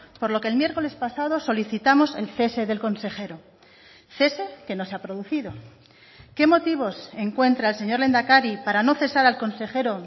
por lo que el miércoles pasado solicitamos el cese del consejero cese que no se ha producido qué motivos encuentra el señor lehendakari para no cesar al consejero